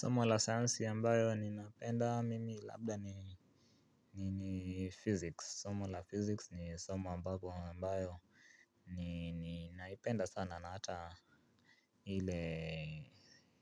Somo la seyansi ambayo ni napenda mimi labda ni physics. Somo la physics ni somo ambapo ambayo ninaipenda sana na hata ile